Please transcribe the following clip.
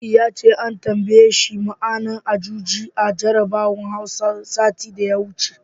Nasidi ya ce an tambaye shi ma'anar Ajuji a jarabawar Hausa, satin da ya wuce.